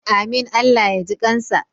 Amin Allah ya ji kansa.